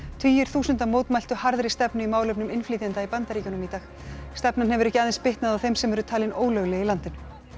tugir þúsunda mótmæltu harðri stefnu í málefnum innflytjenda í Bandaríkjunum í dag stefnan hefur ekki aðeins bitnað á þeim sem eru talin ólögleg í landinu